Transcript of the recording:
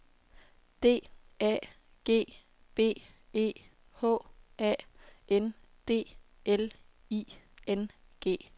D A G B E H A N D L I N G